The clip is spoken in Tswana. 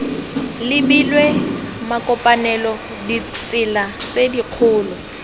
lebilwe makopanelo ditsela tse dikgolo